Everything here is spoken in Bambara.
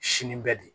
Sini bɛ de